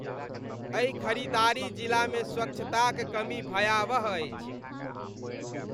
एहि खरीदारी जिलामे स्वच्छताक कमी भयावह अछि।